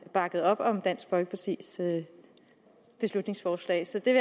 bakket op om dansk folkepartis beslutningsforslag så det